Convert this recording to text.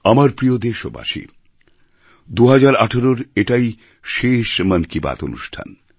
আমার প্রিয় দেশবাসী ২০১৮র এটাই শেষ মন কি বাত অনুষ্ঠান